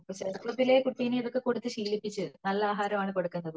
ചെറുപ്പത്തിലേ കുട്ടിനെ ഇതൊക്കെ കൊടുത്ത ശീലിപ്പിക്കണം നല്ല ആഹാരം ആണ് കൊടുക്കണ്ടത്